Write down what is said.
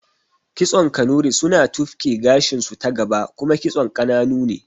Kitson Kanuri suna tufki gashinsu ta gaba kuma kitson ƙananu ne